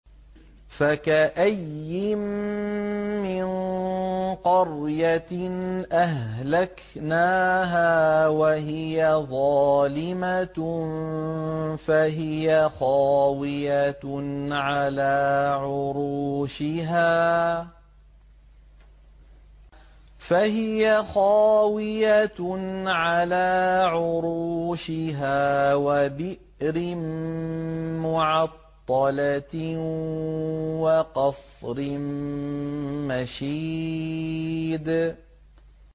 فَكَأَيِّن مِّن قَرْيَةٍ أَهْلَكْنَاهَا وَهِيَ ظَالِمَةٌ فَهِيَ خَاوِيَةٌ عَلَىٰ عُرُوشِهَا وَبِئْرٍ مُّعَطَّلَةٍ وَقَصْرٍ مَّشِيدٍ